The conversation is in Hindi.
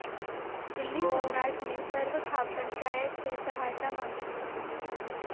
दिल्ली सम्राट ने सर्वखाप पंचायत से सहायता मांगी थी